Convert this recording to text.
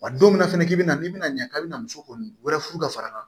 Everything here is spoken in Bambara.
Wa don min na fɛnɛ k'i bi na n'i bɛna ɲɛ k'a bɛna muso kɔni wɛre furu ka fara kan